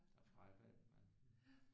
Der fravalgte man